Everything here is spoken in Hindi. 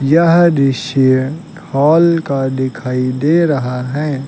यह दृश्य हॉल का दिखाई दे रहा है।